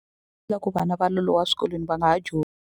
Loko vana va loloha swikolweni va nga ha .